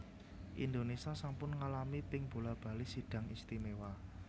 Indonésia sampun ngalami ping bola bali Sidang Istimewa